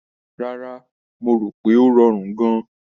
Rárá, mo rò pé ó rọrùn gan-an.